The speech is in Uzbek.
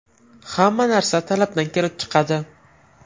Hamma narsa talabdan kelib chiqadi.